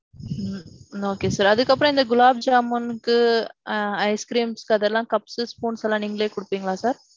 ம்ம். okay sir. அதுக்கு அப்பறோம் இந்த gulab jamun க்கு ice cream க்கு அதெல்லாம் cups, spoons எல்லாம் நீங்களே குடுப்பீங்களா sir?